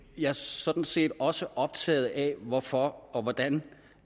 jeg er sådan set også optaget af hvorfor og hvordan